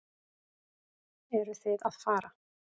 Eruð þið að fara?